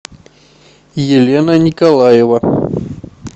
елена николаева